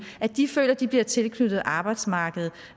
at de føler at de bliver tilknyttet arbejdsmarkedet